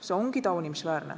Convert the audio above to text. See ongi taunimisväärne.